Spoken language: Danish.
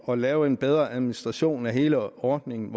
at lave en bedre administration af hele ordningen